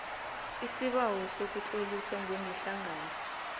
isibawo sokutloliswa njengehlangano